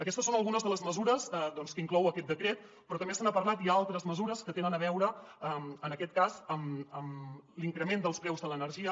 aquestes són algunes de les mesures doncs que inclou aquest decret però també se n’ha parlat hi ha altres mesures que tenen a veure en aquest cas amb l’increment dels preus de l’energia